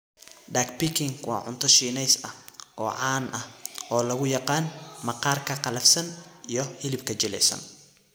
Duck Peking waa cunto Shiineys ah oo caan ah oo loo yaqaan maqaarka qallafsan iyo hilibka jilicsan.